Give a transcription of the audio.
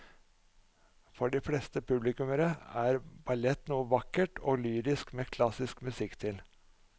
For de fleste publikummere er ballett noe vakkert og lyrisk med klassisk musikk til.